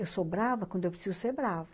Eu sou brava quando eu preciso ser brava.